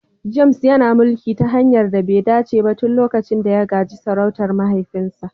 James yana mulki ta hanyar da be dace ba tun lokacin da ya gaji sarautar mahaifinsa.